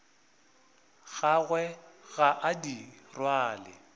gagwe ga a di rwale